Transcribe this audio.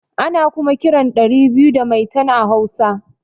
Ana kuma kiran ɗari biyu da maitan a hausa